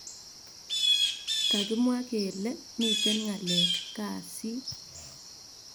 Kakimwa gele miten ngalek kasit